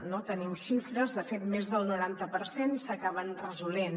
en tenim xifres de fet més del noranta per cent s’acaben resolent